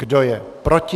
Kdo je proti?